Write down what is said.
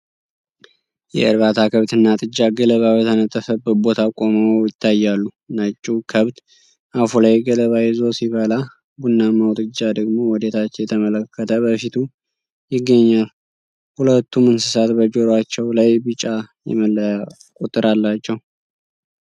የእርባታ ከብት እና ጥጃ ገለባ በተነጠፈበት ቦታ ቆመው ይታያሉ። ነጭው ከብት አፉ ላይ ገለባ ይዞ ሲበላ፣ ቡናማው ጥጃ ደግሞ ወደ ታች እየተመለከተ በፊቱ ይገኛል። ሁለቱም እንስሳት በጆሮአቸው ላይ ቢጫ የመለያ ቁጥር አላቸው